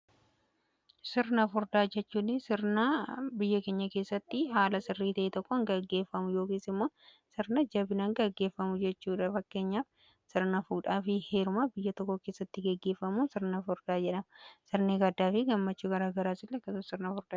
sirna furdaa jechuun sirnaa biyya keenya keessatti haala sirrii ta'ee tokkon gaggeeffamu yookiin immoo sirna jabinan gaggeeffamu jechuudha fakkeenyaa sirna fuudhaa fi heeruma biyya tokko keessatti gaggeeffamu sirna furdaa jedhama. sirni gaddaa fi gammachuu gara garaa illee kaasun ni dandaa'ama.